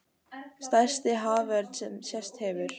Stærsti haförn sem sést hefur